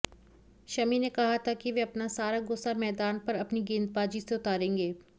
शमी ने कहा था कि वह अपना सारा गुस्सा मैदान पर अपनी गेंदबाजी से उतारेंगें